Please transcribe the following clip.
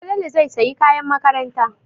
Falalu zai sayi kayan makaranta.